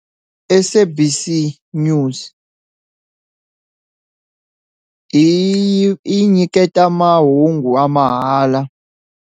SABC News yi yi nyiketa mahungu wa mahala.